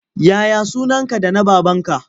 Ya ya sunanka da na babanka?